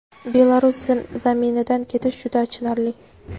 Belarus zaminidan ketish juda achinarli.